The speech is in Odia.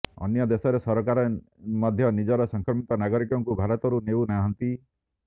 ଅନ୍ୟ ଦେଶର ସରକାର ମଧ୍ୟ ନିଜର ସଂକ୍ରମିତ ନାଗରିକଙ୍କୁ ଭାରତରୁ ନେଉ ନାହାନ୍ତି